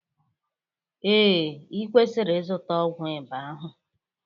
Ee, ị kwesịrị ịzụta ọgwụ ịba ahụ